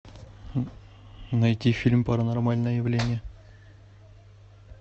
найти фильм паранормальное явление